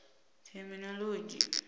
thekhinoḽodzhi